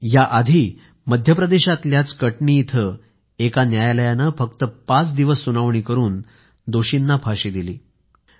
याआधी मध्य प्रदेशातल्या कटनी इथं एका न्यायालयाने फक्त पाच दिवस सुनावणी करून दोषींना फाशीची शिक्षा दिली